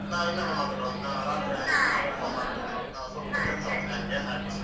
ನಾವ್ ಇನ್ನೊಮ್ಮೆ ಮಾತಾಡುವ ರಾತ್ರಿ ವಾಪಸ್ phone ಮಾಡ್ತೇನೆ ನಂಗೆ ಕೆಲಸ ಉಂಟು ಹಾಗೆ.